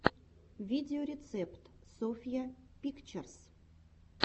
видеорецепт софья пикчерс